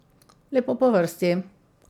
Lepo po vrsti.